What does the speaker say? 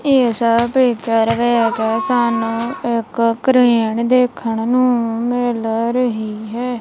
ਇਸ ਪਿਕਚਰ ਵਿੱਚ ਸਾਨੂੰ ਇੱਕ ਕ੍ਰੇਨ ਦੇਖਣ ਨੂੰ ਮਿਲ ਰਹੀ ਹੈ।